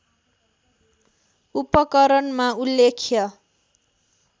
उपकरणमा उल्लेख्य